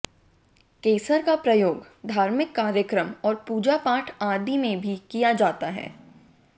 केसर का प्रयोग धार्मिक कार्यक्रम और पूजापाठ आदि में भी किया जाता है